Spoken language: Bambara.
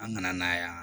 An kana na yan